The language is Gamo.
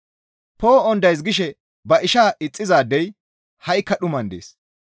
Poo7on days gishe ba ishaa ixxizaadey ha7ikka dhuman dees.